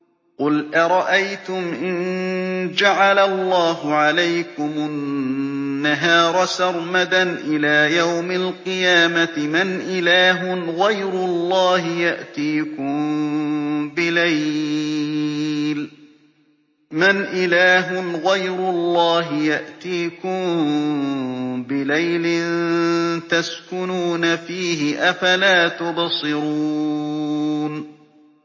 قُلْ أَرَأَيْتُمْ إِن جَعَلَ اللَّهُ عَلَيْكُمُ النَّهَارَ سَرْمَدًا إِلَىٰ يَوْمِ الْقِيَامَةِ مَنْ إِلَٰهٌ غَيْرُ اللَّهِ يَأْتِيكُم بِلَيْلٍ تَسْكُنُونَ فِيهِ ۖ أَفَلَا تُبْصِرُونَ